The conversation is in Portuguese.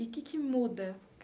E que que muda?